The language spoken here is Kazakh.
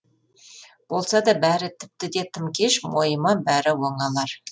болсада бәрі тіпті де тым кеш мойыма бәрі оңалар